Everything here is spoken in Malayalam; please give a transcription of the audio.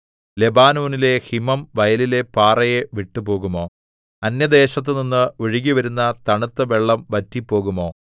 ലെബാനോനിലെ ഹിമം വയലിലെ പാറയെ വിട്ടുപോകുമോ അന്യദേശത്തുനിന്ന് ഒഴുകിവരുന്ന തണുത്ത വെള്ളം വറ്റിപ്പോകുമോ